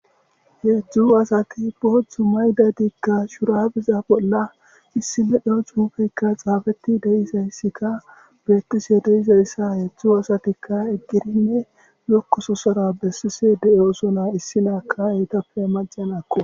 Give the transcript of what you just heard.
Heedzdzu asati pothzu mayda diigka shurabiza bolla issine dheo cuufeykka xaafetti deisayssika beettise deyizayssa heedzdzu asatikka eggirinne lokkoso sara bessise de'o sona issi naaka yeytappe majjen akku